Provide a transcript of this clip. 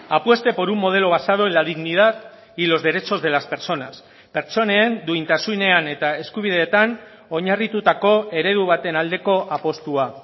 apueste por un modelo basado en la dignidad y los derechos de las personas pertsonen duintasunean eta eskubideetan oinarritutako eredu baten aldeko apustua